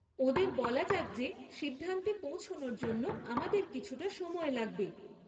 ওঁদের বলা যাক যে সিদ্ধান্তে পৌঁছনোর জন্য আমাদের কিছুটা সময় লাগবে।